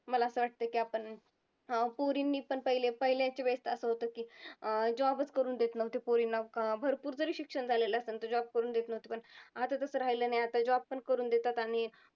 मला असं वाटते की आपण पोरींनी पण पहिले पहिलेच्या वेळेस असं होतं की अं job च करून देत नव्हते पोरींना, भरपूर जरी शिक्षण झालेलं असंन तर job करून देत नव्हते, पण आता तसं राहिलं नाही आता job पण करून देतात. आणि